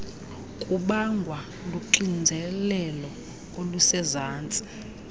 kubangwa luxinzelelo olusezantsi